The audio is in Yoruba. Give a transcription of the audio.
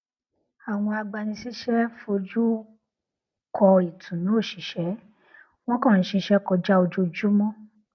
àwọn agbanisíṣẹ foju kọ ìtùnú oṣìṣẹ wọn kàn ṣiṣẹ kọjá ojoojúmọ